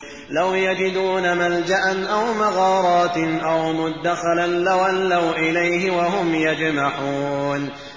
لَوْ يَجِدُونَ مَلْجَأً أَوْ مَغَارَاتٍ أَوْ مُدَّخَلًا لَّوَلَّوْا إِلَيْهِ وَهُمْ يَجْمَحُونَ